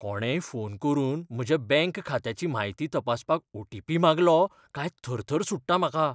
कोणेय फोन करून म्हज्या बँक खात्याची म्हायती तपासपाक ओटीपी मागलो काय थरथर सुट्टा म्हाका.